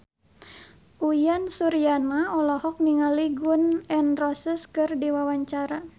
Uyan Suryana olohok ningali Gun N Roses keur diwawancara